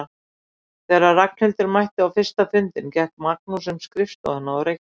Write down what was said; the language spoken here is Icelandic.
Þegar Ragnhildur mætti á fyrsta fundinn gekk Magnús um skrifstofuna og reykti.